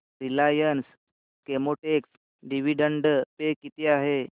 Reliance Chemotex dividend pay किती आहे